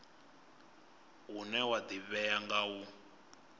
une wa ḓivhea nga u